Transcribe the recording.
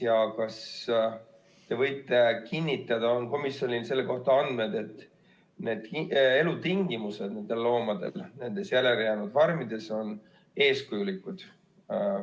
Vahest te võite kinnitada, et komisjonil on selle kohta andmed, et loomade elutingimused nendes järelejäänud farmides on eeskujulikud?